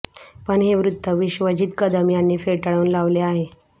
पण हे वृत्त विश्वजित कदम यांनी फेटाळून लावले आहे